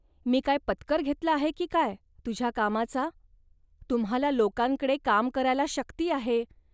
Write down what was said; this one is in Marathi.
."मी काय पत्कर घेतला आहे, की काय, तुझ्या कामाचा. तुम्हांला लोकांकडे काम करायला शक्ती आहे